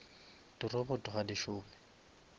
di robot ga di šome